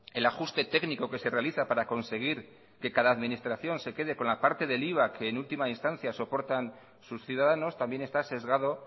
el ajuste técnico que se realiza para conseguir que cada administración se quede con la parte del iva que en última instancia soportan sus ciudadanos también está sesgado